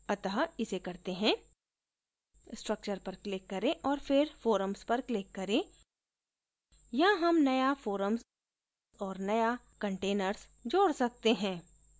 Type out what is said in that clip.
अत: इसे करते हैं structure पर click करें और फिर forums पर click करें यहाँ हम नया forums औऱ नया containers जोड सकते हैं